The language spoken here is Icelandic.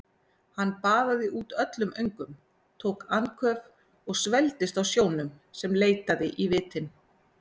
Hann baðaði út öllum öngum, tók andköf og svelgdist á sjónum sem leitaði í vitin.